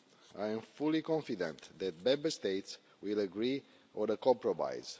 I am fully confident that Member States will agree on a compromise.